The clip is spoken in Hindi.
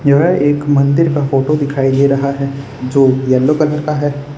यह एक मंदिर का फोटो दिखाई दे रहा है जो येलो कलर का है।